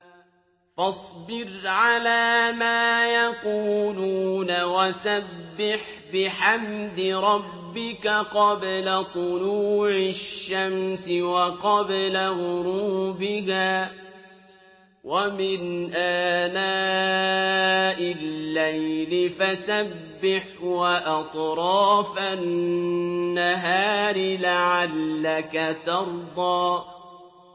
فَاصْبِرْ عَلَىٰ مَا يَقُولُونَ وَسَبِّحْ بِحَمْدِ رَبِّكَ قَبْلَ طُلُوعِ الشَّمْسِ وَقَبْلَ غُرُوبِهَا ۖ وَمِنْ آنَاءِ اللَّيْلِ فَسَبِّحْ وَأَطْرَافَ النَّهَارِ لَعَلَّكَ تَرْضَىٰ